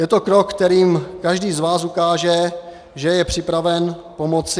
Je to krok, kterým každý z vás ukáže, že je připraven pomoci.